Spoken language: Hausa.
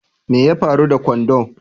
Mai ya faru da kwando?